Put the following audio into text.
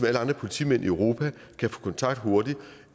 alle andre politimænd i europa kan få kontakt hurtigt